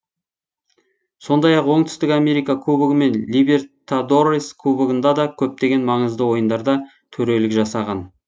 сондай ақ оңтүстік америка кубогы мен либертадорес кубогында да көптеген маңызды ойындарда төрелік жасаған